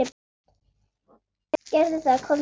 Gerðu það, komdu með.